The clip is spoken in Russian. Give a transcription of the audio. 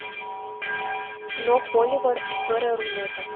кино холивар история рунета